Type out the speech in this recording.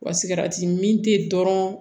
Wa sigɛrɛti mi tɛ dɔrɔn